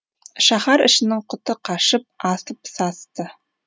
шаһар ішінің құты қашып асып састы